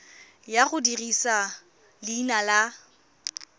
ya go dirisa leina la